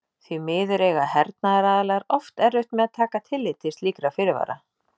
Því miður eiga hernaðaraðilar oft erfitt með að taka tillit til slíkra fyrirvara.